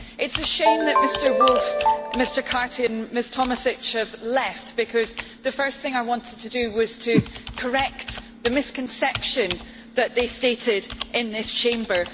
It is a shame that Mr Woolfe, Mr Carthy and Ms Tomašić have left, because the first thing I wanted to do was to correct the misconception that they stated in this Chamber.